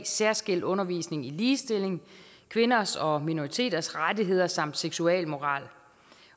særskilt undervisning i ligestilling kvinders og minoriteters rettigheder samt seksualmoral